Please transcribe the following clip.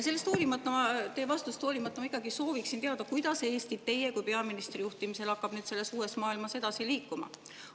Teie vastusest hoolimata ma ikkagi sooviksin teada, kuidas Eesti teie kui peaministri juhtimisel hakkab nüüd selles uues maailmas edasi liikuma.